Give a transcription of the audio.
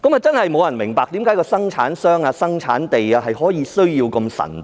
真的沒有人明白為何生產商、生產地等資料需要這麼神秘。